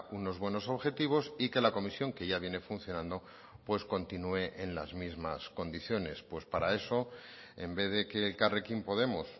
unos buenos objetivos y que la comisión que ya viene funcionando pues continúe en las mismas condiciones pues para eso en vez de que elkarrekin podemos